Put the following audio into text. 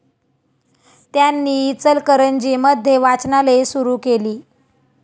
त्यांनी इचलकरंजी मध्ये वाचनालये सुरु केली.